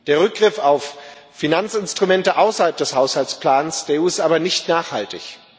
Der Rückgriff auf Finanzinstrumente außerhalb des Haushaltsplans der EU ist aber nicht nachhaltig.